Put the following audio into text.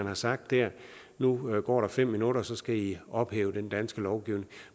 har sagt at nu går der fem minutter og så skal i ophæve den danske lovgivning